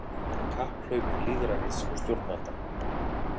Kapphlaup lýðræðis og stjórnvalda